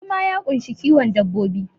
Noma ya ƙunshi kiwon dabbobi